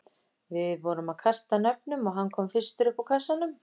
Við vorum að kasta nöfnum og hann kom fyrstur upp úr kassanum.